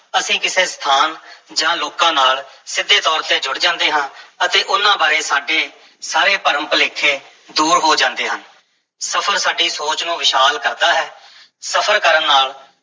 ਅਸੀਂ ਕਿਸੇ ਸਥਾਨ ਜਾਂ ਲੋਕਾਂ ਨਾਲ ਸਿੱਧੇ ਤੌਰ ਤੇ ਜੁੜ ਜਾਂਦੇ ਹਾਂ ਅਤੇ ਉਹਨਾਂ ਬਾਰੇ ਸਾਡੇ ਸਾਰੇ ਭਰਮ-ਭੁਲੇਖੇ ਦੂਰ ਹੋ ਜਾਂਦੇ ਹਨ, ਸਫ਼ਰ ਸਾਡੀ ਸੋਚ ਨੂੰ ਵਿਸ਼ਾਲ ਕਰਦਾ ਹੈ, ਸਫ਼ਰ ਕਰਨ ਨਾਲ